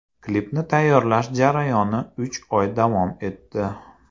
Klipni tayyorlash jarayoni uch oy davom etdi.